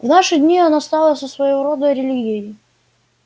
в наши дни она стала своего рода религией